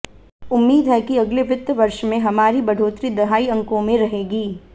उम्मीद है कि अगले वित्त वर्ष में हमारी बढ़ोतरी दहाई अंकों में रहेगी